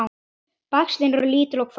Bægslin eru lítil og hvöss.